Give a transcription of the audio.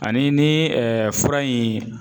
Ani ni fura in